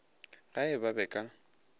ge e ba ba ka